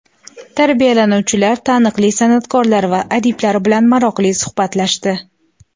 Tarbiyalanuvchilar taniqli san’atkorlar va adiblar bilan maroqli suhbatlashdi.